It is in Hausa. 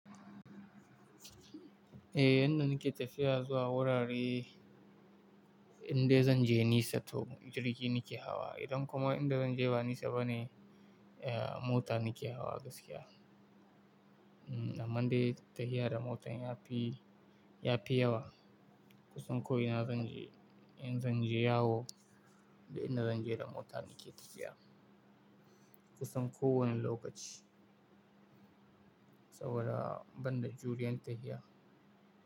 Eh, yanda nake tafiya zuwa wurare inda zan je nisa to jirgi nake hawa. Idan kuma inda zan je ba nisa bane, eh mota nake hawa gaskiya. Amman dai tafiya da mota ya fi, ya fi yawa kusan ko ina zan je. In zan je yawo da inda zan je da mota nake tafiya kusan kowane lokaci saboda ban da juriyan tafiya.